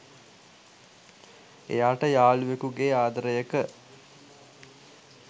එයාට යාලුවෙකුගේ ආදරයක